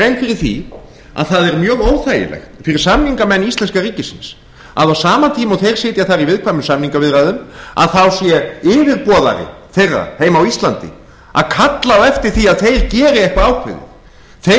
grein fyrir því að það er mjög óþægilegt fyrir samningamenn íslenska ríkisins að á sama tíma og þeir sitja þar í viðkvæmum samningaviðræðum þá sé yfirboðari þeirra heima á íslandi að kalla á eftir því að þeir geri eitthvað ákveðið þeir